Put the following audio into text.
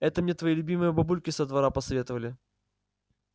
это мне твои любимые бабульки со двора посоветовали